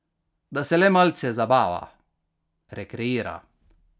Da se le malce zabava, rekreira.